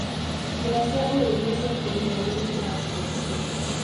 Njĩra cia ũrĩithia cia kĩmerera nĩciracokio.